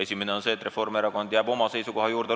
Esimene on see, et Reformierakond jääb oma seisukoha juurde.